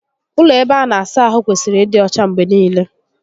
Ụlọ ebe a na-asa ahụ kwesịrị ịdị ọcha mgbe niile